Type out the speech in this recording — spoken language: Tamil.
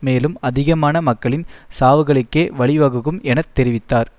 மேலும் அதிகமான மக்களின் சாவுகழுக்கே வழிவகுக்கும் என தெரிவித்தார்